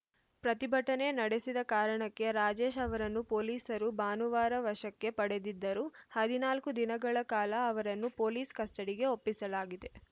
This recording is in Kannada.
ಪ್ರತಿಭಟನೆ ನಡೆಸಿದ ಕಾರಣಕ್ಕೆ ರಾಜೇಶ್‌ ಅವರನ್ನು ಪೊಲೀಸರು ಭಾನುವಾರ ವಶಕ್ಕೆ ಪಡೆದಿದ್ದರು ಹದಿನಾಲ್ಕು ದಿನಗಳ ಕಾಲ ಅವರನ್ನು ಪೊಲೀಸ್‌ ಕಸ್ಟಡಿಗೆ ಒಪ್ಪಿಸಲಾಗಿದೆ